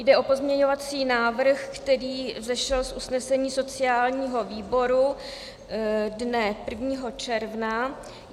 Jde o pozměňovací návrh, který vzešel z usnesení sociálního výboru dne 1. června.